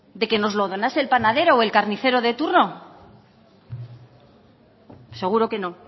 de que nos lo donase el panadero o el carnicero de turno seguro que no